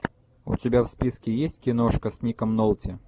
у тебя в списке есть киношка с ником нолти